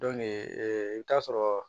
i bɛ taa sɔrɔ